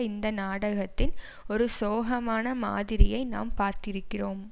இந்த நாடகத்தின் ஒரு சோகமான மாதிரியை நாம் பார்த்திருக்கிறோம்